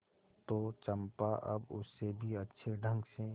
तो चंपा अब उससे भी अच्छे ढंग से